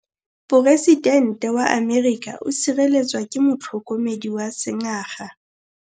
Poresitêntê wa Amerika o sireletswa ke motlhokomedi wa sengaga.